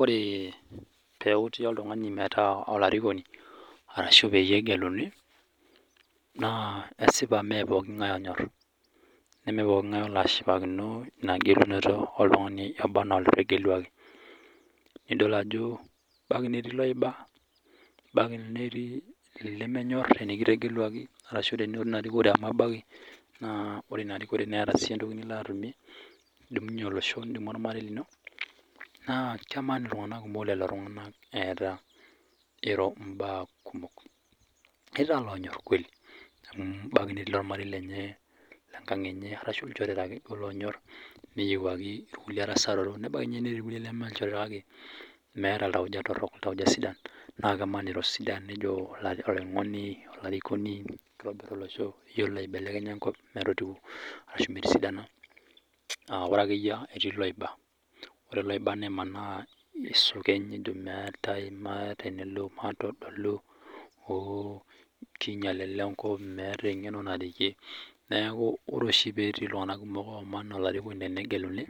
Oree peuti oltungani metaa olarikoni arashu peyie egeluni naa esipa mee epooki ing'ae onyorr nemee pooki ing'ae olo ashipakino ina gelunoto oltungani obanaa otegeluaki. Nidol ajo ebaki netii loiba, ebaki netii lemekinyorr enikitegeluaki, ore ninye ina erikore amu ebaki naa ore ina rikore nieta sii entoki nilo atumie, nidumunye olosho, nidumu ormarei lino, naa keman iltunganak kumok oleng lelo tungana eeta eiro imbaa kumok. Etii taa loonyorr kueli ebaki netii ormarei lenye, enkang enye arashu ilchoreta ake naake loonyorr neyeuwaki ilkule abaki ninye nemee supat kake meeta iltauja torrok, iltauja sidan naa keman eeta sidan nijo mee olarikoni ashu iyolo aubelekenya enkop arashu metii sidano, naa ore ake iyie ninche loiba. Ore loina nemanaa nesukeny netum naa etaim mee tenelo matedolu amu keinyal ale enkop, meeta engeno naretie, neaku ore oshi petii iltunganak kumok aaman olarikoni engeluni